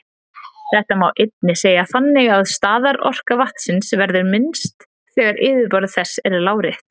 Þetta má einnig segja þannig að staðarorka vatnsins verður minnst þegar yfirborð þess er lárétt.